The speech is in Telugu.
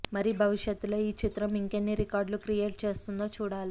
మరి భవిష్యత్తులో ఈ చిత్రం ఇంకెన్ని రికార్డులు క్రియేట్ చేస్తోందో చూడాలి